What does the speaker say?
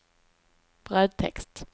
brödtext